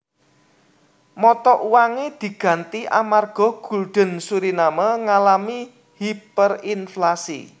Mata uange diganti amarga gulden Suriname ngalami hiperinflasi